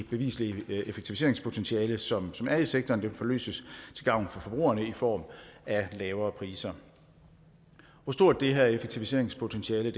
bevislige effektiviseringspotentiale som er i sektoren forløses til gavn for forbrugerne i form af lavere priser hvor stort det her effektiviseringspotentiale